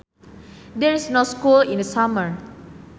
There is no school in the summer